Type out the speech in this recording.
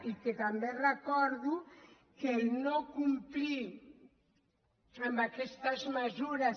i que també recordo que no complir amb aquestes mesures